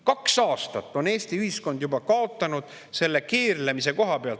Kaks aastat on Eesti ühiskond juba kaotanud selle keerlemise tõttu.